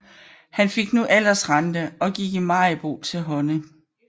Han fik nu aldersrente og gik i Maribo til hånde